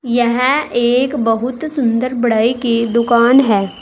यहां एक बहुत सुंदर बढ़ई की दुकान है।